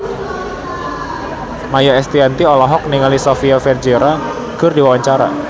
Maia Estianty olohok ningali Sofia Vergara keur diwawancara